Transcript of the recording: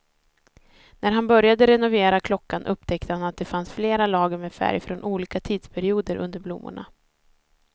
När han började renovera klockan upptäckte han att det fanns flera lager med färg från olika tidsperioder under blommorna.